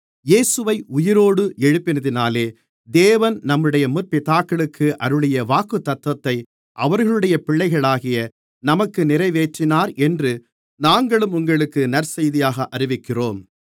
இயேசுவை உயிரோடு எழுப்பினதினாலே தேவன் நம்முடைய முற்பிதாக்களுக்கு அருளிய வாக்குத்தத்தத்தை அவர்களுடைய பிள்ளைகளாகிய நமக்கு நிறைவேற்றினார் என்று நாங்களும் உங்களுக்கு நற்செய்தியாக அறிவிக்கிறோம்